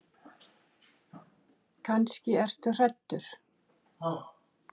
Kannski ertu hræddur.